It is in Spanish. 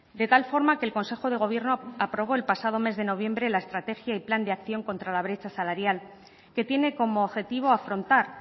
de tal forma que el consejo de gobierno aprobó el pasado mes de noviembre la estrategia y plan de acción contra la brecha salarial que tiene como objetivo afrontar